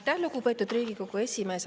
Aitäh, lugupeetud Riigikogu esimees!